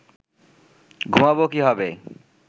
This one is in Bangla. ঘুমাব কীভাবে